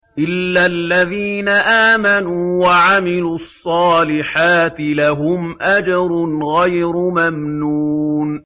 إِلَّا الَّذِينَ آمَنُوا وَعَمِلُوا الصَّالِحَاتِ لَهُمْ أَجْرٌ غَيْرُ مَمْنُونٍ